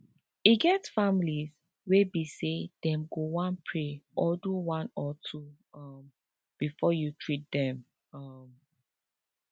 e get families wey be say them go one pray or do one or two um before you treat them um